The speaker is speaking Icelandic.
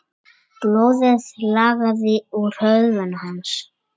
Blóðið lagaði úr höfði hans.